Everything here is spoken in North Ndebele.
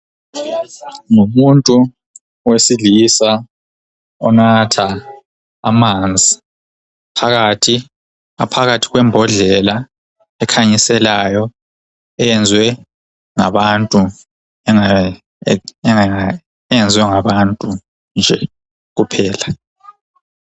ngumuntu owesilisa onatha amanzi aphakathi kwembodlela ekhanyiselayo eyenziwe ngabantu nje kuphela